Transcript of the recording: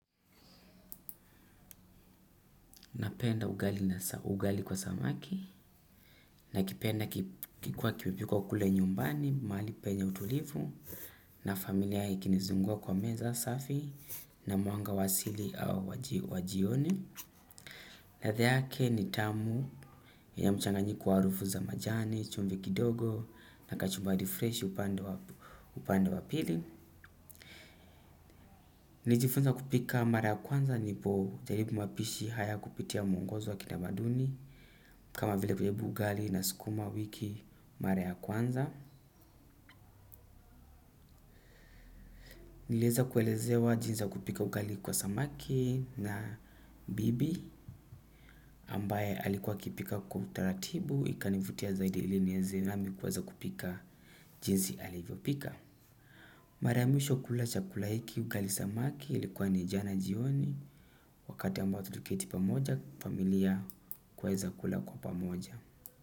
Napenda ugali kwa samaki, nakipenda kikiwa kimepimwa kule nyumbani, mahali penye utulivu, na familia ikinizunguka kwa meza safi, na mwanga wa asili au wajioni. Latha yake ni tamu ya mchanganyiko wa harufu za majani, chumvi kidogo na kachumbari freshi upande wa pili. Nilijifunza kupika mara ya kwanza nilipojaribu mapishi hayakupitia mungozo wa kitamaduni kama vile kujibu ugali na sikuma wiki mara ya kwanza. Nilieza kuelezewa jinsi ya kupika ugali kwa samaki na bibi ambaye alikuwa akipika kwa utaratibu ikanivutia zaidi ili nieze nami kuweza kupika jinsi alivyopika. Mara ya mwisho kula chakula hiki ugali samaki ilikuwa ni jana jioni wakati ambao tukiketi pamoja familia huweza kula kwa pamoja.